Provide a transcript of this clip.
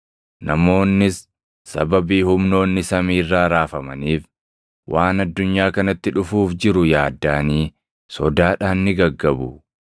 Namoonnis sababii humnoonni samii irraa raafamaniif, waan addunyaa kanatti dhufuuf jiru yaaddaʼanii sodaadhaan ni gaggabu.